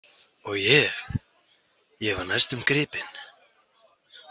Og ég, ég var næstum gripinn.